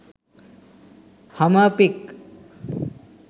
hummer pic